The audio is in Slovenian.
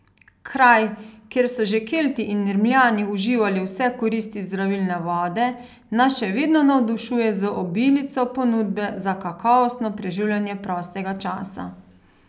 Kraj, kjer so že Kelti in Rimljani uživali vse koristi zdravilne vode, nas še vedno navdušuje z obilico ponudbe za kakovostno preživljanje prostega časa.